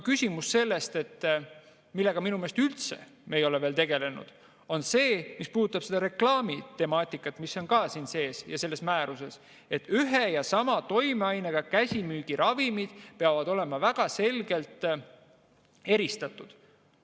Küsimus, millega me minu meelest ei ole veel üldse tegelenud, puudutab reklaamitemaatikat, mis on ka sees siin ja selles määruses, et ühe ja sama toimeainega käsimüügiravimid peavad olema väga selgelt eristatud.